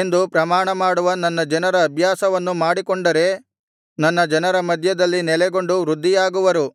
ಎಂದು ಪ್ರಮಾಣಮಾಡುವ ನನ್ನ ಜನರ ಅಭ್ಯಾಸವನ್ನು ಮಾಡಿಕೊಂಡರೆ ನನ್ನ ಜನರ ಮಧ್ಯದಲ್ಲಿ ನೆಲೆಗೊಂಡು ವೃದ್ಧಿಯಾಗುವರು